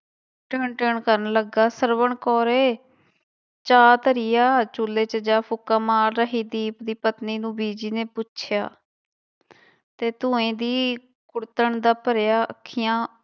ਟਿਣ ਟਿਣ ਕਰਨ ਲੱਗਾ, ਸਰਵਣ ਕੌਰੇ ਚਾਹ ਧਰੀ ਆ? ਚੁੱਲੇ ਚ ਜਾ ਫ਼ੂਕਾਂ ਮਾਰ ਰਹੀ ਦੀਪ ਦੀ ਪਤਨੀ ਨੂੰ ਬੀਜੀ ਨੇ ਪੁੱਛਿਆ ਤੇ ਧੂੰਏ ਦੀ ਕੁੜਤਣ ਦਾ ਭਰਿਆ ਅੱਖੀਆਂ